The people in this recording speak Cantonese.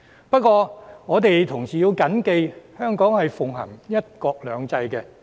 不過，我們同時要緊記，香港是奉行"一國兩制"的。